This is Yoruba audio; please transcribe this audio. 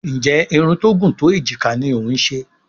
Nje Irun tó gún tó ejika ní o ń ṣe?